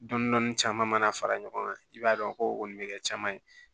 Dɔni dɔni caman mana fara ɲɔgɔn kan i b'a dɔn ko o kɔni bɛ kɛ caman ye